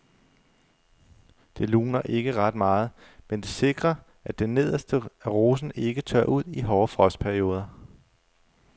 Det luner ikke ret meget, men det sikrer at det nederste af rosen ikke tørrer ud i hårde frostperioder.